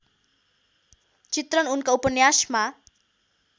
चित्रण उनका उपन्यासमा